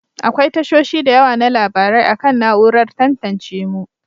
Akwai tashoshi da yawa na labarai akan na'urar tantance mu.